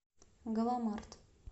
галамарт